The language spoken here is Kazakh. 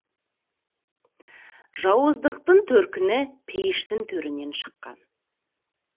жауыздықтың төркіні пейіштің төрінен шыққан